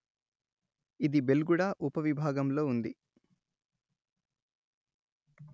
ఇది బెల్గుడా ఉపవిభాగంలో ఉంది